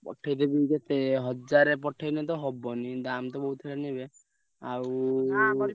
ପଠେଇଦେବି କେତେ ହଜାରେ ପଠେଇଲେ ତ ହବନି ଦାମ ତ ବହୁତ ଆଉ, ।